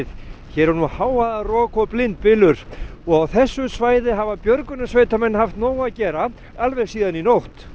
hér er nú hávaðarok og blindbylur og á þessu svæði hafa björgunarsveitarmenn haft nóg að gera alveg síðan í nótt